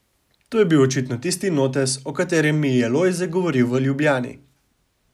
To je bil očitno tisti notes, o katerem mi je Lojze govoril v Ljubljani.